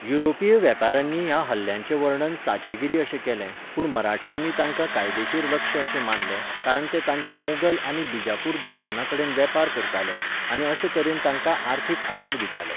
युरोपीय वेपाऱ्यांनी ह्या हल्ल्यांचें वर्णन चांचेगिरी अशें केलें, पूण मराठ्यांनी तांकां कायदेशीर लक्ष्य अशें मानलें कारण ते तांच्या मोगल आनी बीजापूर दुस्माना कडेन वेपार करताले, आनी अशे तरेन तांकां अर्थीक आदार दिताले.